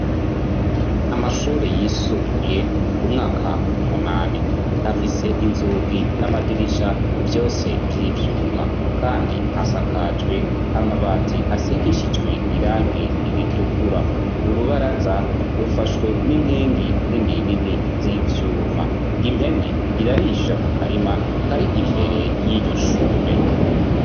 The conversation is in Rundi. Amashure yisumbuye umwaka w'umunani, afise inzugi n'amadirisha vyose vy'ivyuma kandi asakajwe amabati asigishijwe irangi ritukura. Urubaraza rufashwe n'inkingi nini nini z'ivyuma, impene irarisha mu karima kari imbere y'iryoshure.